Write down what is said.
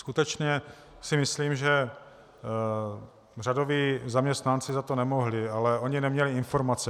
Skutečně si myslím, že řadoví zaměstnanci za to nemohli, ale oni neměli informace.